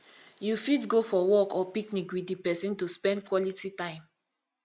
you fit go for walk or picnic with di person to spend quality time